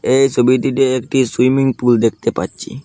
এই সবিটিতে একটি সুইমিং পুল দেখতে পাচ্ছি।